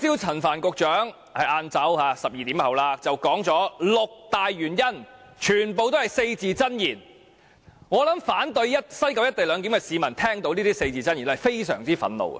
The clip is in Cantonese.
陳帆局長在今天中午大約12時提出了六大原因，當中全部也是四字真言，但我相信如果反對西九"一地兩檢"的市民聽到他的四字真言，會感到相當憤怒。